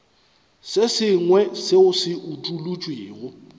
se sengwe seo se utolotšwego